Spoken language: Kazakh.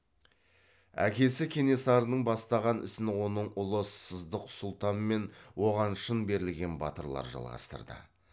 әкесі кенесарының бастаған ісін оның ұлы сыздық сұлтан мен оған шын берілген батырлар жалғастырды